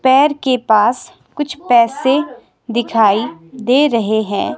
पैर के पास कुछ पैसे दिखाई दे रहे हैं।